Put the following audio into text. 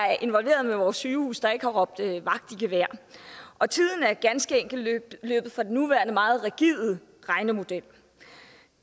er involveret i vores sygehuse der ikke har råbt vagt i gevær og tiden er ganske enkelt løbet fra den nuværende meget rigide regnemodel